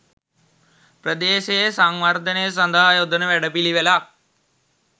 ප්‍රදේශයේ සංවර්ධනය සදහා යොදන වැඩපිලිවෙලක්.